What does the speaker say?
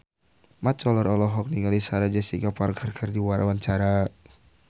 Mat Solar olohok ningali Sarah Jessica Parker keur diwawancara